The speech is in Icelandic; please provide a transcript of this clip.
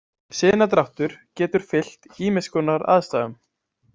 Sinadráttur getur fylgt ýmiss konar aðstæðum.